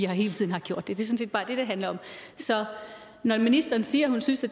hele tiden har gjort det det set bare det det handler om så når ministeren siger at hun synes at